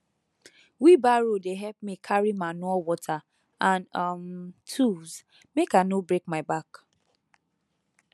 wheelbarrow dey help me carry manure water and um tools mk i no break my back